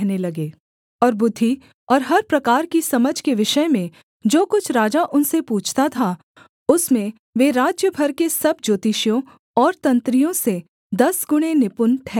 और बुद्धि और हर प्रकार की समझ के विषय में जो कुछ राजा उनसे पूछता था उसमें वे राज्य भर के सब ज्योतिषियों और तंत्रियों से दसगुणे निपुण ठहरते थे